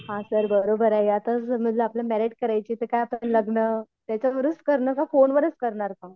हां सर बरोबर आहे यातच मेरेट करायची तर का आपण लग्न त्याच्यावरच करणार का फोनवरच करणार का?